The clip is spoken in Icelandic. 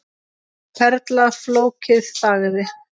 Perla Fólkið þagði.